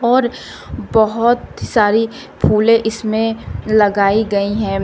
और बहोत सारी फूले इसमें लगाई गई है।